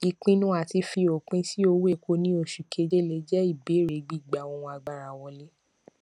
ìpinnu àti fi opin sí owó epo ní oṣù kéje le jẹ ìbẹrẹ gbígba ohun agbára wọlé